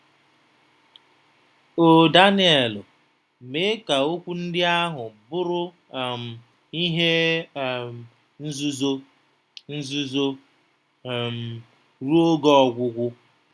“O Danielu, mee ka okwu ndị ahụ bụrụ um ihe um nzuzo. nzuzo. um.. ruo oge ọgwụgwụ.